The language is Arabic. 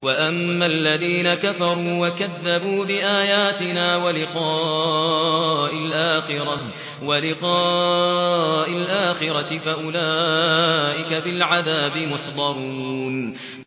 وَأَمَّا الَّذِينَ كَفَرُوا وَكَذَّبُوا بِآيَاتِنَا وَلِقَاءِ الْآخِرَةِ فَأُولَٰئِكَ فِي الْعَذَابِ مُحْضَرُونَ